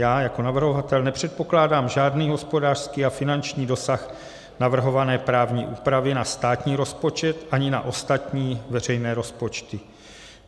Já jako navrhovatel nepředpokládám žádný hospodářský a finanční dosah navrhované právní úpravy na státní rozpočet ani na ostatní veřejné rozpočty.